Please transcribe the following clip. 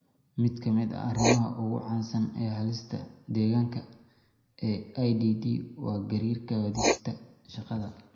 Mid ka mid ah arrimaha ugu caansan ee halista deegaanka ee IDD waa gariirka wadista shaqada.